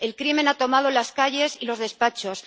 el crimen ha tomado las calles y los despachos.